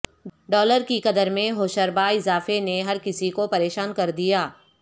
dollar کی قدر میں ہوشربا اضافے نے ہر کسی کو پریشان کر دیا